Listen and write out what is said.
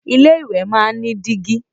Ilé ìwẹ̀ máa ń ní dígí